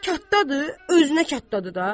Kattadır, özünə kattadır da.